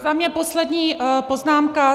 Za mě poslední poznámka.